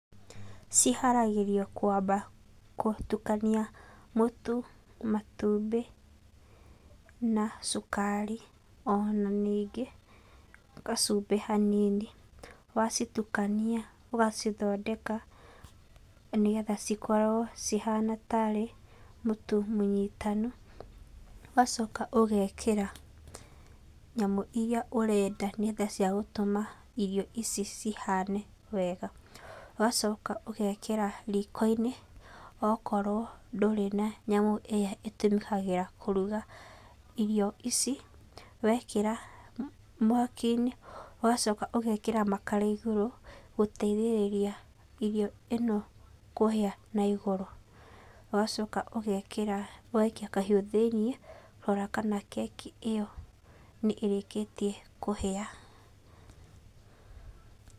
Ciharagĩrio kwamba gũtukania mũtu, matumbĩ na cukari, ona ningĩ gacumbĩ hanini. Wacitukania ũgacithondeka nĩgetha cikorwo cihana tarĩ mũtu mũnyitanu. Ũgacoka ũgekĩra nyamũ iria ũrenda nĩgetha cia gũtũma irio ici cihane wega. Ũgacoka ũgekĩra rikoinĩ okorwo ndũrĩ na nyamũ ĩrĩa ĩtũrugagĩra kũruga irio ici. Wĩkĩra mwakinĩ, ũgacoka ũgekĩra makara igũrũ gũteithĩrĩria irio ĩno kũhĩa na igũrũ. Ũgacoka ũgaikia kahiũ na thĩini kũrora kana keki ĩyo nĩĩrĩkĩtie kũhĩa.